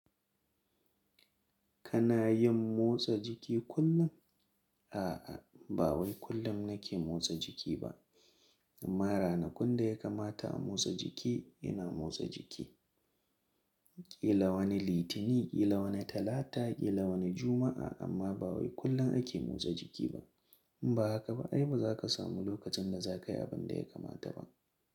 Kana yin motsa jiki kullum? A'a, ba wai kullum na ke motsa jiki ba. Amma ranakun da ya kamata a motsa jiki, ina motsa jiki. Kila wani Litinin, kila wani Talata, kila wani Juma'a. Amma ba wai kullum ake motsa jiki ba. In ba haka ba, ai ba za ka samu lokacin da za ka yi abin da ya kamata ba.